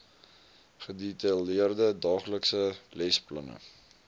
gedetailleerde daaglikse lesplanne